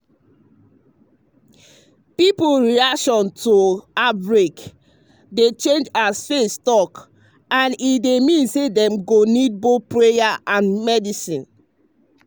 people reaction to outbreak dey change as faith talk and e mean say dem go need both prayer and medicine.